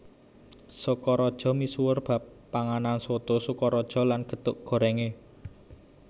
Sokaraja misuwur bab panganan Soto Sokaraja lan gethuk gorèngé